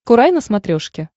курай на смотрешке